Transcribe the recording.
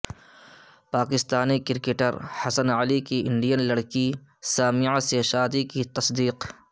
Pakistani cricketer Hasan Ali کی Indian لڑکی سامعہ سے شادی کی تصدیق